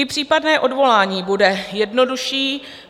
I případné odvolání bude jednodušší.